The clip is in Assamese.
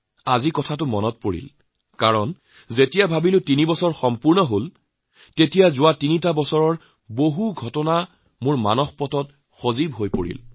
আজি এনে কৰিছে কাৰণ যেতিয়া ভাবিছো যে তিনি বছৰ হৈ গৈছে তেতিয়া হলে যোৱা তিনি বছৰৰ কিমান ঘটনা মোৰ মনত থিতাপি লৈছে